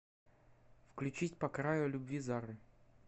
включить по краю любви зары